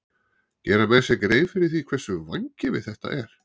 Gera menn sér grein fyrir því hversu vangefið þetta er?